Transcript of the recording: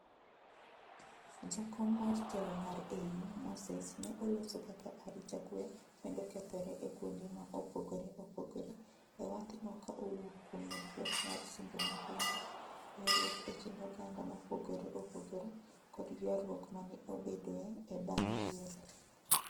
Jakom mar telo mar AU Moses ne oloso kaka arita kwe medo kethore e kwonde ma opogore opogore e wath no ka owuok kuom medruok mar timbe mahundu, ywaruok e kind oganda mopogore opogore kod ywaruok mane obedoe e bang' yiero.